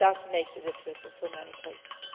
It does make a difference in so many places.